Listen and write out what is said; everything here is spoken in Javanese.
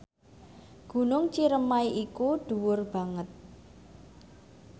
Gunung Ciremai iku dhuwur banget